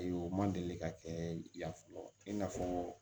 U ma deli ka kɛ ya fɔlɔ i n'a fɔɔ